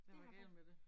Det har